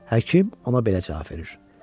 Həkim ona belə cavab verir: